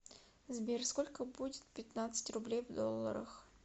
сбер сколько будет пятнадцать рублей в долларах